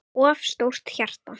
of stórt hjarta